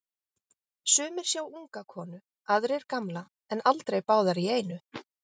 Sumir sjá unga konu, aðrir gamla, en aldrei báðar í einu.